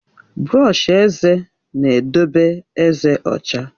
Brọọshi eze na-edobe ezé ọcha.